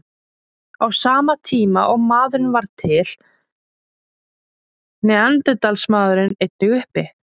Á sama tíma og maðurinn varð til var neanderdalsmaðurinn einnig uppi.